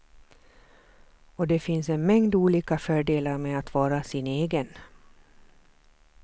Och det finns en mängd olika fördelar med att vara sin egen.